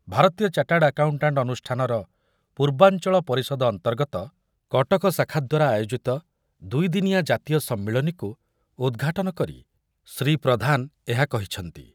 ଭାରତୀୟ chartered accountant ଅନୁଷ୍ଠାନର ପୂର୍ବାଞ୍ଚଳ ପରିଷଦ ଅନ୍ତର୍ଗତ କଟକ ଶାଖା ଦ୍ୱାରା ଆୟୋଜିତ ଦୁଇଦିନିଆ ଜାତୀୟ ସମ୍ମିଳନୀକୁ ଉଦ୍‌ଘାଟନ କରି ଶ୍ରୀ ପ୍ରଧାନ ଏହା କହିଛନ୍ତି।